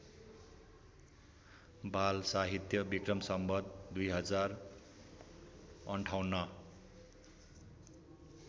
बालसाहित्य विक्रम सम्वत २०५८